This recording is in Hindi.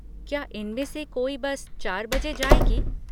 क्या इनमें से कोई बस चार बजे जाएगी?